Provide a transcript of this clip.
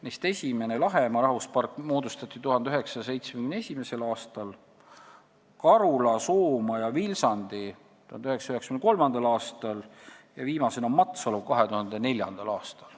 Neist esimene, Lahemaa rahvuspark, moodustati 1971. aastal, Karula, Soomaa ja Vilsandi 1993. aastal ning viimasena Matsalu 2004. aastal.